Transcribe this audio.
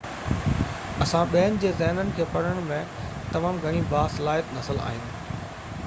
انسان ٻين جي ذهنن کي پڙهڻ ۾ تمام گهڻي باصلاحيت نسل آهن